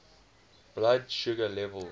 blood sugar level